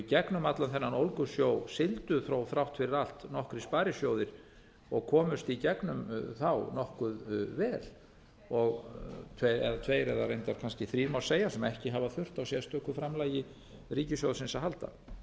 í gegnum allan þennan ólgusjó sigldu þó þrátt fyrir allt nokkrir sparisjóðir og komust í gegnum þá nokkuð vel tveir eða reyndar þrír má segja sem ekki hafa þurft á sérstöku framlagi ríkissjóðsins að halda